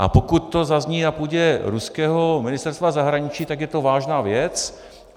A pokud to zazní na půdě ruského Ministerstva zahraničí, tak je to vážná věc.